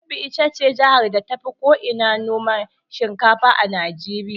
Kebbi ita ce jihar da tafi ko ina noman shinkafa a Najeriya.